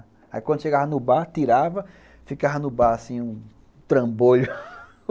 Aí quando chegava no bar, tirava, ficava no bar, assim, um trambolho.